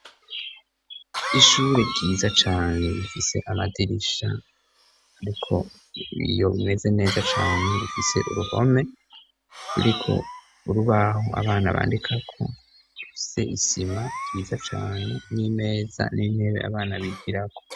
ishure ryiza cane rifise amadirisha ariko iyo bimeze neza cane bufise uruhome ruriko urubaho abana bandika ko se isima ryiza cane n'imeza n'intebe abana bigirako